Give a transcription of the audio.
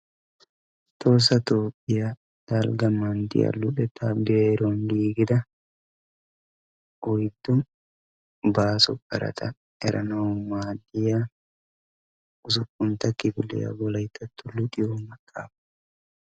Tohossaa Toophiyaa Dalgga manttiyaa luxetta biruwaan giigida oyddu baaso qarata erannawu maadiyaa ussuppuntta kifiliyaa Wolayttato luxiyo maxaafa.